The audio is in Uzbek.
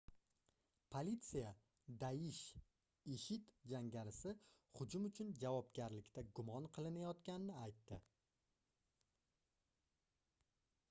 politsiya daish ishid jangarisi hujum uchun javobgarlikda gumon qilinayotganini aytdi